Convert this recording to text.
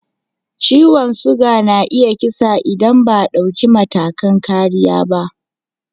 Ciwon suga na iya kisa idan ba a dauki matakan kariya ba.